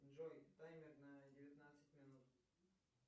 джой таймер на девятнадцать минут